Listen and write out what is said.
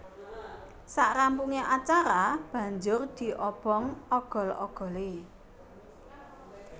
Sarampunge acara banjur diobong ogol ogole